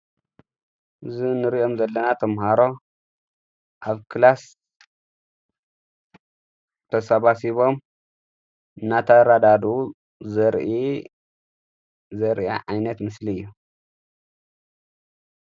እዝ ንርኦም ዘለና ተምሃሮ ኣብ ክላስ ተሰባ ሲቦም ናታራዳዱ ዘርኢ ዘርአ ዓይነት ምስሊ እየ::